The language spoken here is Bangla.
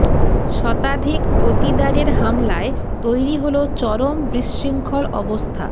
শতাধিক পতিদারের হামলায় তৈরি হল চরম বিশৃঙ্খল অবস্থা